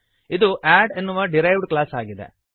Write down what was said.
ಇದು ಅಡ್ ಎನ್ನುವ derived class ಆಗಿದೆ